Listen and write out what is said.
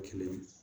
Kelen